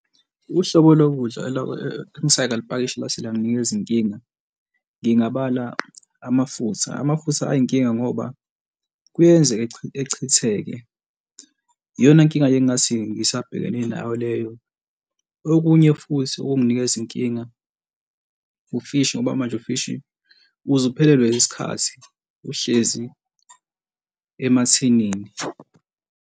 Uhlobo lokudla engisengalipakisha lase langinikeza inkinga. Ngingabala amafutha, amafutha ayinkinga ngoba kuyenzeka echitheke iyona nkinga engingathi ngisabhekene nayo leyo. Okunye futhi ukunginikeza inkinga, ufishi ngoba manje ufishi uze uphelelwe isikhathi, uhlezi emathinini.